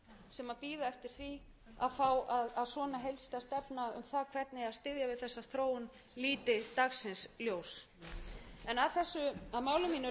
sem bíða eftir því að fá að svona heildstæð stefna um það hvernig eigi að styðja við þessa þróun líti dagsins ljós að máli